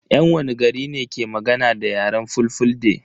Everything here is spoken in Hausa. Yan wani gari ne ke magana da yaren fulfulde?